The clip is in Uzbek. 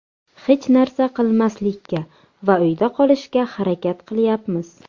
Hech narsa qilmaslikka va uyda qolishga harakat qilyapmiz.